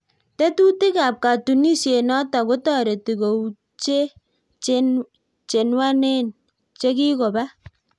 Tetutik ap katunisiet notok kotoreti koutchee chenwanen chekikopaa